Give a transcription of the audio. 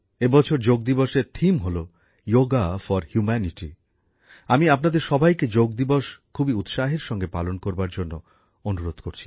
এই বছর যোগ দিবসের থিম হল যোগা ফর হিউম্যানিটি আমি আপনাদের সবাইকে যোগ দিবস খুবই উৎসাহের সঙ্গে পালন করবার জন্য অনুরোধ করছি